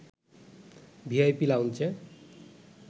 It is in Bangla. ভিআইপি লাউঞ্জে